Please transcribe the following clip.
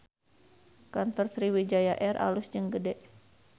Kantor Sriwijaya Air alus jeung gede